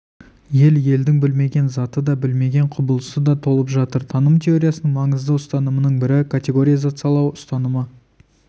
ел-елдің білмеген заты да білмеген құбылысы да толып жатыр таным теориясының маңызды ұстанымының бірі категоризациялау ұстанымы